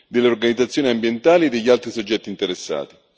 delle organizzazioni ambientali e degli altri soggetti interessati.